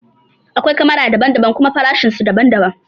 Akwai kamara daban daban kuma farashin su daban daban